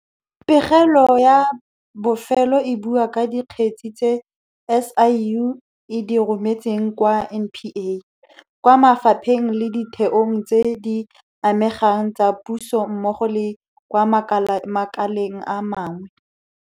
Pegelo eno ya bofelo e bua ka dikgetse tse SIU e di rometseng kwa NPA, kwa mafapheng le ditheong tse di amegang tsa puso mmogo le kwa makaleng a mangwe.